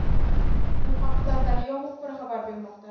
Bu haqida «Daryo» muxbiri xabar bermoqda.